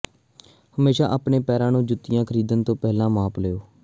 ਹਮੇਸ਼ਾ ਆਪਣੇ ਪੈਰਾਂ ਨੂੰ ਜੁੱਤੀਆਂ ਖਰੀਦਣ ਤੋਂ ਪਹਿਲਾਂ ਮਾਪ ਲਓ